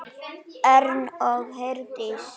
Örn og Herdís.